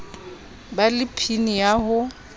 ba le pin ya ho